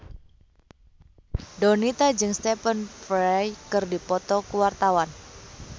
Donita jeung Stephen Fry keur dipoto ku wartawan